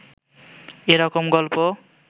এ রকম গল্প